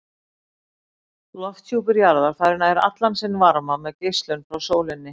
Lofthjúpur jarðar fær nær allan sinn varma með geislun frá sólinni.